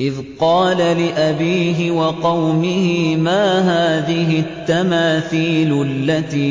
إِذْ قَالَ لِأَبِيهِ وَقَوْمِهِ مَا هَٰذِهِ التَّمَاثِيلُ الَّتِي